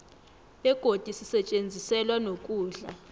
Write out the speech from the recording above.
begodi sisetjenziselwa nokudla